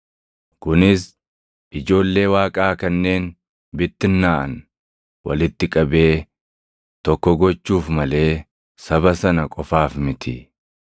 kunis ijoollee Waaqaa kanneen bittinnaaʼan walitti qabee tokko gochuuf malee saba sana qofaaf miti.